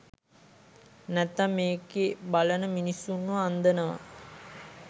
නැත්නම් මේකේ බලන මිනිස්සුන්ව අන්දනවා